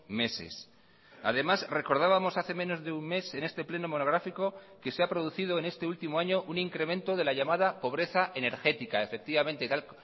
meses además recordábamos hace menos de un mes en este pleno monográfico que se ha producido en este último año un incremento de la llamada pobreza energética efectivamente tal